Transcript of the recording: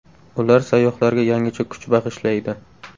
Ular sayyohlarga yangicha kuch bag‘ishlaydi.